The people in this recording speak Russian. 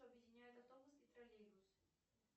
что объединяет автобус и троллейбус